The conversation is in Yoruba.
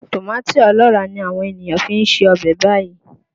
Tòmátì ọlọ́ràá ni àwọn ènìyàn fi ń se ọbẹ̀ báyìí